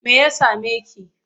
Me ya same ki?